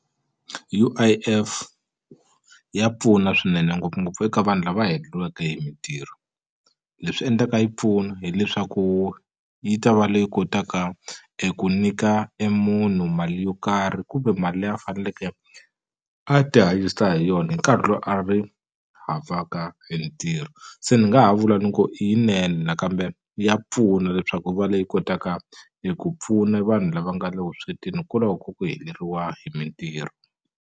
U_I_F ya pfuna swinene ngopfungopfu eka vanhu lava heleliweke hi mintirho leswi endlaka yi pfuna hileswaku yi ta va leyi kotaka eku nyika e munhu mali yo karhi kumbe mali leyi a faneleke a ti hanyisa hi yona hi nkarhi lowu a ri havaka e hi ntirho se ni nga ha vula ni ku i yinene nakambe ya pfuna leswaku ku va leyi kotaka eku pfuna vanhu lava nga le vuswetini hikwalaho ka ku heleriwa hi mintirho.